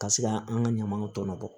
Ka se ka an ka ɲamanw tɔnɔ bɔ